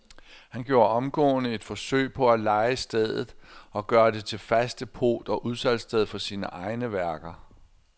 Han gjorde omgående et forsøg på at leje stedet og gøre det til fast depot og udsalgssted for sine egne værker.